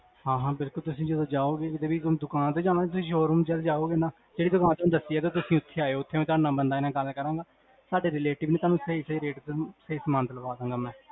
ਹਾਂ ਹਾਂ ਬਿਲਕੁਲ ਤੁਸੀਂ ਜਦੋ ਜਾਓਗੇ, ਹੁਣ ਤੁਸੀਂ ਦੁਕਾਨ ਤੇ ਜਾਣਾ ਕੀ ਸ਼ੋਰੂਮ ਚ ਜਾਓਗੇ ਨਾ ਜੇਹੜੀ ਦੁਕਾਨ ਤੁਹਾਨੂ ਦੱਸੀ ਆ, ਤੁਸੀਂ ਓਥੇ ਆਏਓ ਸਾਡੇ relative ਨੇ ਸਾਨੂ ਸਹੀ ਸਹੀ rate ਤੇ ਸਹੀ ਸਮਾਨ ਦ੍ਲ੍ਵਾਦਾਂਗਾ ਮੈਂ